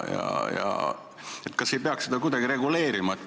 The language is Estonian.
Kas ei peaks seda kuidagi reguleerima?